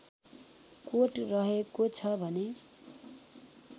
coat रहेको छ भने